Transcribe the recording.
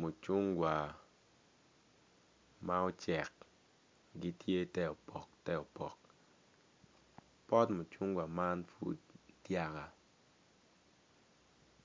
Mucungwa ma ocek gitye te opk te opok pot mucungwa man pud dyaka